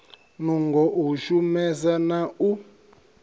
nungo u shumesa na u